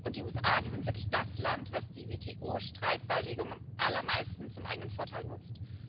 Die USA sind wirklich das Land, das die WTO Streitbeilegung am allermeisten zum eigenen Vorteil nutzt.